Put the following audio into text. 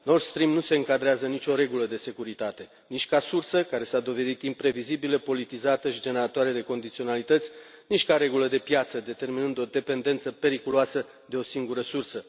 Nord Stream nu se încadrează în nicio regulă de securitate, nici ca sursă, care s a dovedit imprevizibilă, politizată și generatoare de condiționalități, nici ca regulă de piață, determinând o dependență periculoasă de o singură sursă.